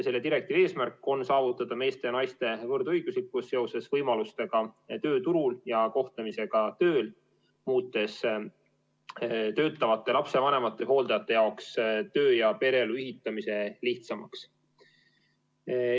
Selle direktiivi eesmärk on saavutada meeste ja naiste võrdõiguslikkus seoses võimalustega tööturul ja kohtlemisega tööl, muutes töötavate lapsevanemate ja hooldajate jaoks töö- ja pereelu ühitamise lihtsamaks.